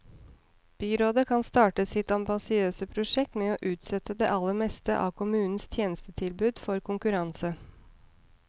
Byrådet kan starte sitt ambisiøse prosjekt med å utsette det aller meste av kommunens tjenestetilbud for konkurranse.